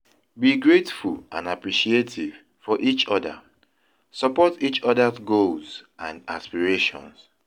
Be grateful and appreciative for each other; support each other's goals and aspirations.